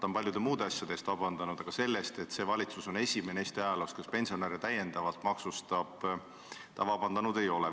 Ta on paljude muude asjade eest vabandust palunud, aga selle eest, et see valitsus on esimene Eesti ajaloos, kes pensionäre täiendavalt maksustab, ta vabandust palunud ei ole.